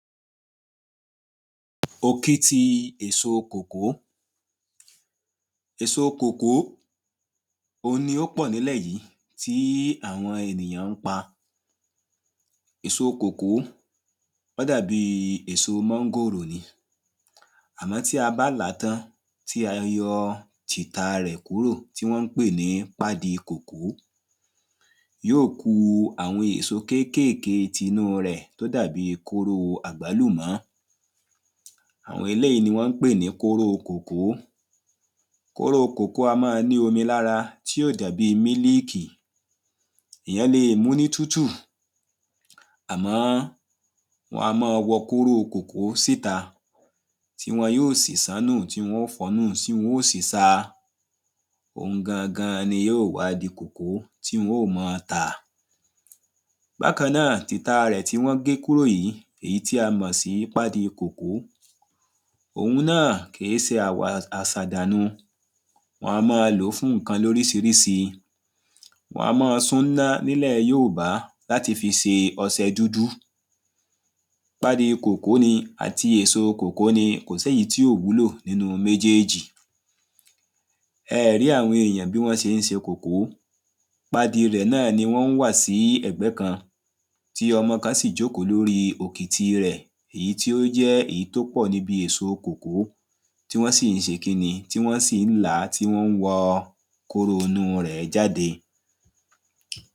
Òkìtì èso kòkó Èso kòkó òun ni ó pọ̀ ní ilẹ̀ yìí tí àwọn ènìyàn ń pa Èso kòkó ó dàbí èso mángòrò ni Àmọ́ tí a bá làá tán tí a yọ tí ìta rẹ̀ kúrò tí wọ́n ń pè ní pádi kòkó yóò ku àwọn èso kékèèké tinú rẹ̀ tí ó dàbí kóró àgbálùmọ́ Àwọn eléyìí ni wọ́n ń pè ní kóró kòkó Kóró kòkó á máa ni omi ní ara tí yóò dàbí mílíkì Èyàn lè mú ní tútù àmọ́ wọ́n á máa wọ́ kóró kòkó síta tí wọn yóò sì ṣán nú tí wọ́n óò fọ nú tí wọ́n óò sì sa Òun gangan ni yóò wá di kòkó tí wọ́n óò máa tà Bákan náà tí ìta rẹ̀ tí wọ́n gé kúrò yìí èyí tí a mọ̀ sí pádi kòkó Òun náà kìí ṣe àṣàdànù Wọ́n á máa lóò fún nǹkan ní oríṣiríṣi Wọ́n á máa sún ní iná ní ilẹ̀ Yorùbá láti fi se ọṣẹ dúdú Pádi kòkó ni àti èso kòkó ni kò sí èyí tí ò wúlò nínú méjèèjì Ẹ ẹ̀ rí àwọn èyàn bí wọ́n ṣe ń ṣe kòkó Pádi rẹ̀ náà ni wọ́n ń wà sí ẹ̀gbẹ́ kan tí ọmọ kan sì jókò le orí ọ̀kìtì rẹ̀ èyí tí ó jẹ́ èyí tí ó pọ̀ níbi èso kòkó tí wọ́n ń sì ń ṣe kíni tí wọ́n sì ń làá tí wọ́n ń wa kóró inú rẹ̀ jáde